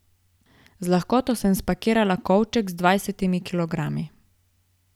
Z lahkoto sem spakirala kovček z dvajsetimi kilogrami.